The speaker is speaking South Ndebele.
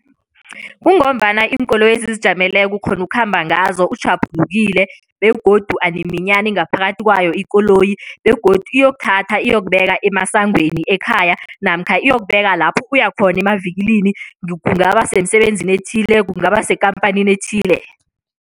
Kungombana iinkoloyi ezizijameleko ukghona ukukhamba ngazo utjhaphulukile begodu animinyani ngaphakathi kwayo ikoloyi begodu iyokuthatha iyokubeka emesangweni ekhaya namkha iyokubeka lapho uya khona emavikilini kungaba semsebenzini ethileko, kungaba sekhamphanini ethile.